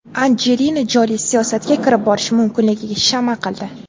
Anjelina Joli siyosatga kirib borishi mumkinligiga shama qildi.